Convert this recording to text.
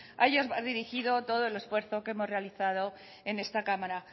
a ellos va dirigido todo el esfuerzo que hemos realizado en esta cámara